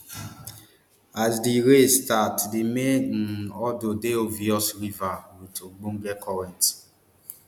as di race start di main um hurdle dey obvious river wit ogbonge currents